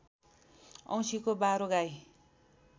औँसीको बारो गाई